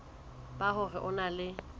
ba hore o na le